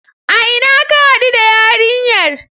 A ina ka haɗu da yarinyar?